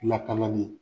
Lakanali